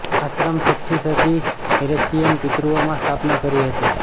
આશ્રમ છઠ્ઠી સદી એસ્સીરીયન પિતૃઓ માં સ્થાપના કરી હતી